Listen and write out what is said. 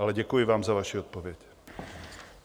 Ale děkuji vám za vaši odpověď.